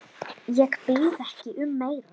Ég bið ekki um meira.